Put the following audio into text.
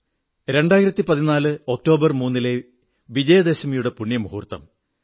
2014 October 3 ലെ വിജയദശമിയുടെ പുണ്യമുഹൂർത്തം